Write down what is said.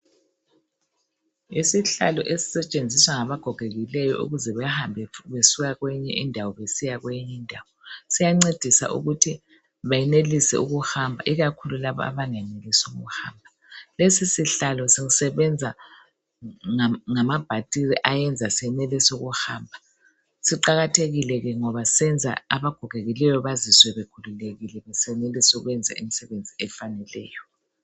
Isihlalo esisetshenziswa ngaba gogekileyo ukuze behambe besuka kwenye indawo besiya kwenye indawo, siyancedisa ukuthi beyenelise ukuhamba ikakhulu labo abengenelisiyo ukuhamba. Lesi sihlalo sisebenza ngamabhatiri ayenza senelise ukuhamba, siqakathekile ke ngoba senza abagogekileyo bazizwe bekhululekile besenelisa ukwenza imsebenzi efaneleyo.